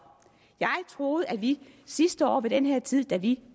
jeg troede at vi sidste år ved den her tid da vi